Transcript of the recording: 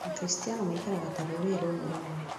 Akristiano maikaraga ta rũrĩrĩ rũmwe rũnene